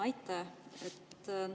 Aitäh!